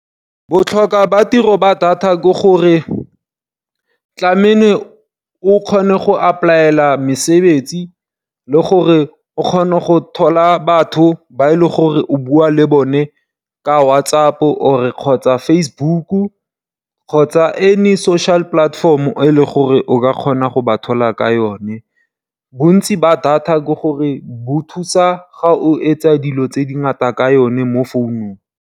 Botlhokwa ba tiro ba data ke gore tlameile o kgone go apply-ela mesebetsi le gore o kgone go thola batho ba e le gore o bua le bone ka WhatsApp kgotsa Facebook, kgotsa any social platform e leng gore o ka kgona go ba thola ka yone. Bontsi ba data ke gore bo thusa ga o etsa dilo tse dingata ka yone mo founung.